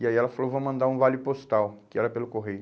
E aí ela falou, vou mandar um vale postal, que era pelo correio.